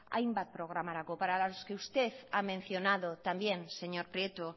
hainbat programarako para las que usted ha mencionado también señor prieto